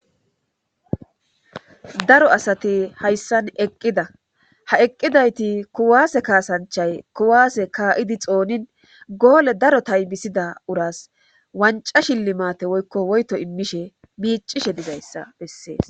Dro asati hayssan eqqida ha eqqidayti kuwaase kaasanchay kuwaase kaa'idi xoonin goole daro taybisida uras wanca shillimaate woykko woyto immishe miicishe digayssa bessees